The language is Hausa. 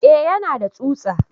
Eh yana da tsutsa